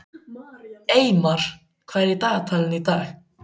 Eymar, hvað er í dagatalinu í dag?